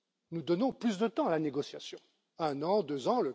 Nous donnons plus de temps à la négociation un an, deux ans...